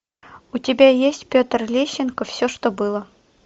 у тебя есть петр лещенко все что было